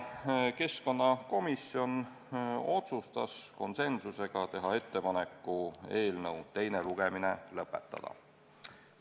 Keskkonnakomisjon otsustas konsensusega teha ettepanek eelnõu teine lugemine lõpetada.